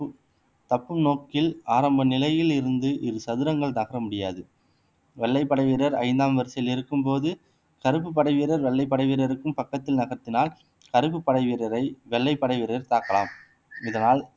தப்பும் நோக்கில் ஆரம்ப நிலையில் இருந்து இரு சதுரங்கள் தாக்க முடியாது வெள்ளைப்படை வீரர் ஐந்தாம் வரிசையில் இருக்கும்போது கருப்பு படை வீரர் வெள்ளை படை வீரருக்கும் பக்கத்தில் நகர்த்தினால் கருப்பு படை வீரரை வெள்ளை படை வீரர் தாக்கலாம் இதனால்